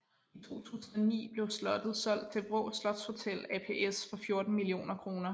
I 2009 blev slottet solgt til Vraa Slotshotel ApS for 14 mio kr